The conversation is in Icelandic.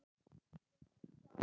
Ég hef talað.